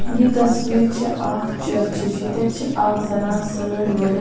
یہِ تصویٖر چھےٚ اکھ چٔرچِچ ییٚتٮ۪تھ چھےٚ اکھ زنان سٲڑۍ ؤلِتھ